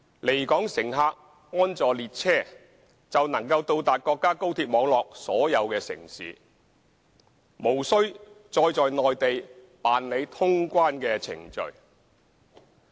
離港乘客安坐列車，就能到達國家高鐵網絡所有城市，無需再在內地辦理通關程序。